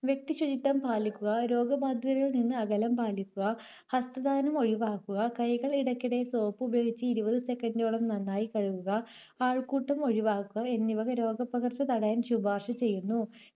വ്യക്തിശുചിത്വം പാലിക്കുക, രോഗബാധിതരിൽ നിന്ന് അകലം പാലിക്കുക, ഹസ്തദാനം ഒഴിവാക്കുക, കൈകൾ ഇടയ്ക്കിടെ സോപ്പ് ഉപയോഗിച്ച് ഇരുപത് second ഓളം നന്നായി കഴുകുക, ആൾക്കൂട്ടം ഒഴിവാക്കുക എന്നിവ രോഗപ്പകർച്ച തടയാൻ ശുപാർശ ചെയ്യുന്നു.